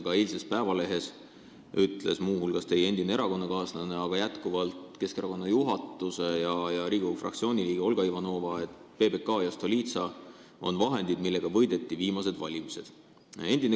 Ka eilses Eesti Päevalehes ütles muu hulgas teie endine erakonnakaaslane, kes on aga jätkuvalt Keskerakonna juhatuse ja Riigikogu fraktsiooni liige, Olga Ivanova, et PBK ja Stolitsa on vahendid, millega võideti viimased valimised.